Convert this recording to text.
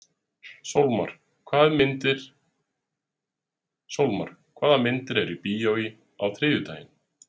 Sólmar, hvaða myndir eru í bíó á þriðjudaginn?